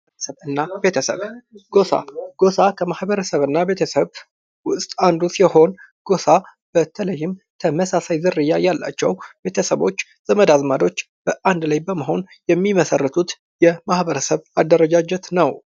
ማህበረሰብ እና ቤተሰብ ፦ ጎፋ፦ ጎፋ ከማህበረሰብ እና ቤተሰብ ውስጥ አንዱ ሲሆን ጎፋ በተለይም ተመሳሳይ ዝርያ ያላቸው ቤተሰቦች ፣ ዘመድ አዝማዶች በአንድ ላይ በመሆን የሚመሰርቱት የማህበረሰብ አደረጃጀት ነው ።